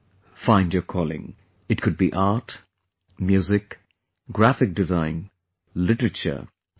Find your calling it could be art, music, graphic design, literature, etc